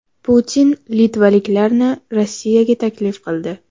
Putin litvaliklarni Rossiyaga taklif qildi.